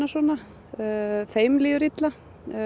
svona þeim líður illa